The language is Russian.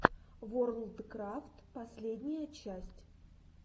ворлдкрафт последняя часть